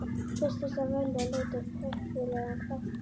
Fyrst þurfti að velja og leita uppi heppilega þátttakendur.